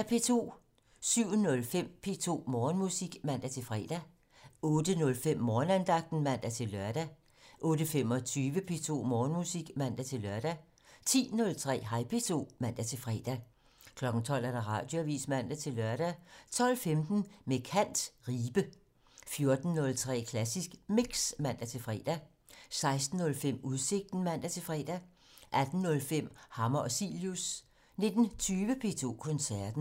07:05: P2 Morgenmusik (man-fre) 08:05: Morgenandagten (man-lør) 08:25: P2 Morgenmusik (man-lør) 10:03: Hej P2 (man-fre) 12:00: Radioavisen (man-lør) 12:15: Med kant - Ribe 14:03: Klassisk Mix (man-fre) 16:05: Udsigten (man-fre) 18:05: Hammer og Cilius 19:20: P2 Koncerten